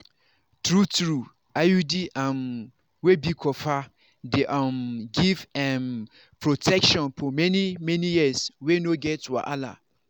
true-true iud um wey be copper dey um give um protection for many-many years wey no get wahala.